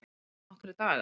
Eru það nokkrir dagar?